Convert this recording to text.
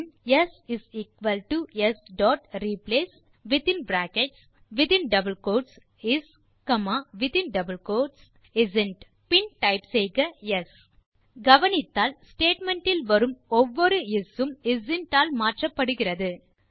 பின் s s dot replace within brackets மற்றும் double quotes is மீண்டும் brackets மற்றும் double quotes isn't கவனித்தால் statement இல் வரும் ஒவ்வொரு இஸ் உம் இஸ்ந்த் ஆல் மாற்றப்படுகிறது